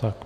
Tak.